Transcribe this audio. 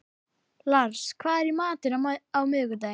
Lars, hvað er í matinn á miðvikudaginn?